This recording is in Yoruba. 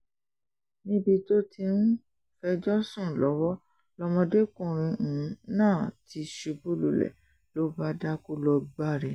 níbi tó ti um ń fẹjọ́ sùn lọ́wọ́ lọmọdékùnrin um náà ti ṣubú lulẹ̀ ló bá dákú lọ gbári